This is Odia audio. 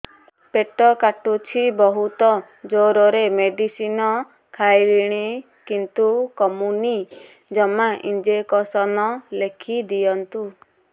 ପେଟ କାଟୁଛି ବହୁତ ଜୋରରେ ମେଡିସିନ ଖାଇଲିଣି କିନ୍ତୁ କମୁନି ଜମା ଇଂଜେକସନ ଲେଖିଦିଅନ୍ତୁ